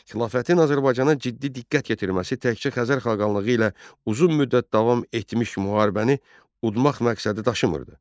Xilafətin Azərbaycana ciddi diqqət yetirməsi təkcə Xəzər xaqanlığı ilə uzun müddət davam etmiş müharibəni udmaq məqsədi daşımırdı.